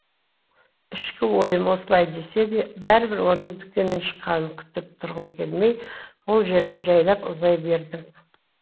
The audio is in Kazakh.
ішкі ойым осылай десе де бәрібір оның дүкеннен шыққанын күтіп тұрғым келмей ол жерден жәйлап ұзай бердім